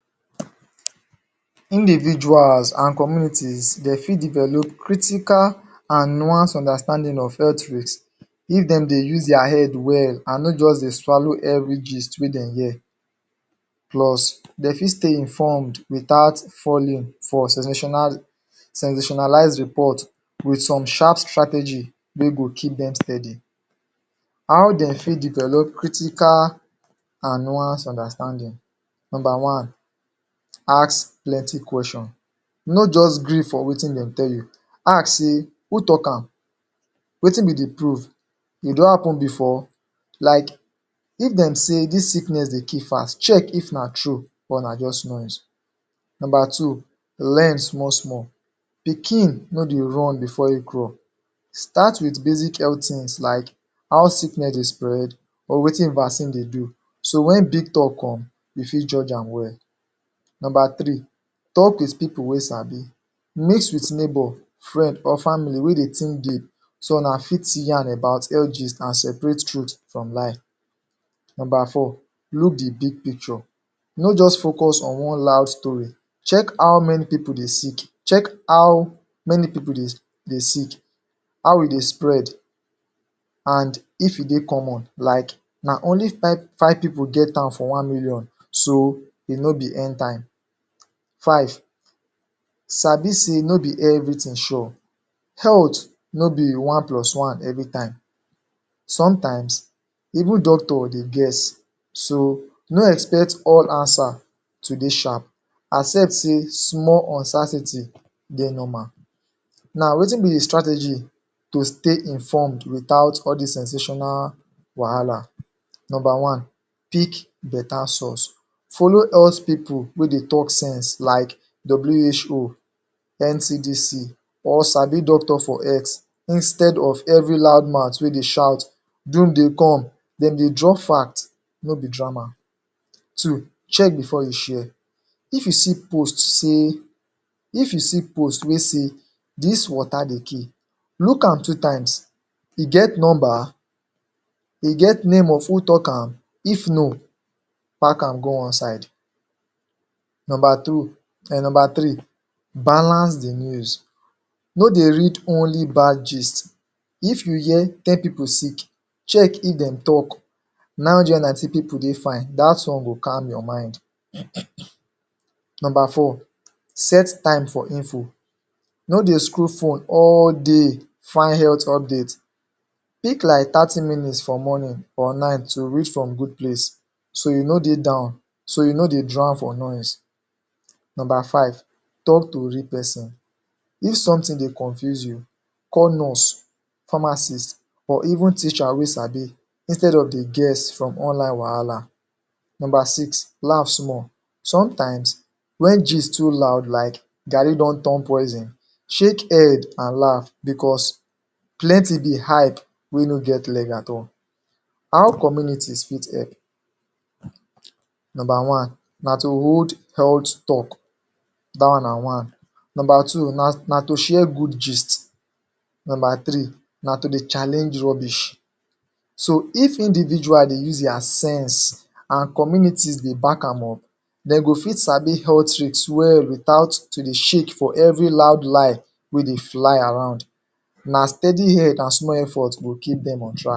Individuals an communities de fit develop critical an nuance understanding of health risk if dem dey use dia head well an no juz dey swallow every gist wey dem hear. Plus, de fit stay informed without falling for sensationalized report with some sharp strategy wey go keep dem steady. How dem fit develop critical an nuanced understanding? Nomba one: Ask plenty question. No juz gree for wetin dem tell you. Ask sey: "Who talk am?" "Wetin be the proof?" "E don happen before?" Like, if dem say dis sickness dey kill fas, check if na true or na juz noise. Nomba two: Learn small-small. Pikin no dey run before ein crawl. Start with basic health tins like how sickness dey spread or wetin vaccine dey do, so wen big talk come, you fit judge am well. Nomba three: Talk with pipu wey sabi. Meet with neighbour, friend or family wey dey think deep so una fit yarn about health gist an separate truth from lie. Nomba four: Look the big picture. No juz focus on one loud story, check how many pipu dey sick, check how many pipu dey sick, how e dey spread, an if e dey common. Like na only five pipu get am for one million. So, e no be End Time. Five, sabi sey no be everything sure. no be one plus one everytime. Sometimes, even doctors dey guess. So, no expect all answer to dey sharp. Accept sey small uncertainty dey normal. Now, wetin be the strategy to stay informed without all dis sensational wahala? Nomba one: Pick beta source. Follow health pipu wey dey talk sense like WHO, NCDC or sabi doctor for health–instead of every loud mouth wey dey shout, "Doom dey come." Dem dey drop fact, no be drama. Two: Check before you share. If you see post say, if you see post wey say "Dis water dey kill," look am two times. E get nomba? E get name of who talk am? If no, pack am go one side. Nomba three: Balance the news. No dey read only bad gist. If you hear " ten pipu sick," check if dem talk "Nine hundred an ninety pipu dey fine," dat one go calm your mind. Nomba four: Set time for info. No dey scroll phone all day find health update. Pick like thirty minutes for morning or night to read from good place so you no dey down, so you no dey drown for noise. Nomba five: Talk to real peson. If something dey confuse you, call nurse, pharmacist, or even teacher wey sabi insetad of dey guess from online wahala. Nomba six: Laf small. Sometimes, wen gist too loud like "Garri don turn poison," shake head, an laf becos plenty be hype wey no get leg at all. How communities fit help? Nomba one na to hold health talk. Dat one na one. Nomba two na to share good gist. Nomba three na to dey challenge rubbish. So, if individual dey use dia sense, an communities dey back am up, de go fit sabi health risk well without to dey shake for every loud lie wey dey fly around. Na steady head an small effort go keep dem on track.